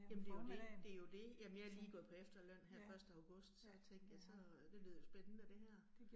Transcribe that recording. Jamen det jo det det jo det. Jamen jeg lige gået på efterløn her første august, så tænkte jeg så det lyder spændende det her